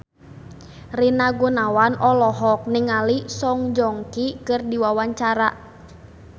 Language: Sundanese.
Rina Gunawan olohok ningali Song Joong Ki keur diwawancara